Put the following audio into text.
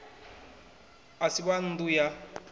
a si wa nnḓu ya